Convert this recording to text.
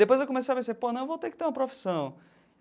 Depois eu comecei a perceber, pô, não, eu vou ter que ter uma profissão.